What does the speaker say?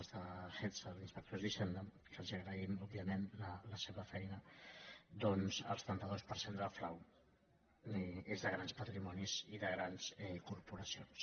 les de gestha les dels inspectors d’hisen·da que els agraïm òbviament la seva feina doncs el setanta dos per cent del frau és de grans patrimonis i de grans corporacions